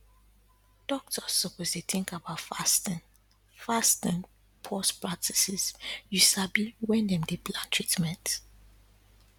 doktors suppose dey tink about fasting fasting pause practices you sabi wen dem dey plan treatment